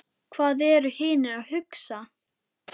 Hvað eru hinir að hugsa?